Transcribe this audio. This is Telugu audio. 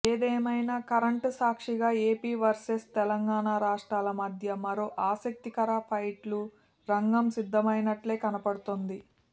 ఏదేమైనా కరెంటు సాక్షిగా ఏపీ వర్సెస్ తెలంగాణ రాష్ట్రాల మధ్య మరో ఆసక్తికర ఫైట్కు రంగం సిద్ధమైనట్టే కనపడుతోంది